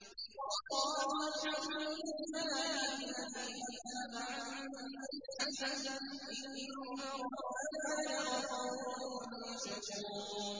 وَقَالُوا الْحَمْدُ لِلَّهِ الَّذِي أَذْهَبَ عَنَّا الْحَزَنَ ۖ إِنَّ رَبَّنَا لَغَفُورٌ شَكُورٌ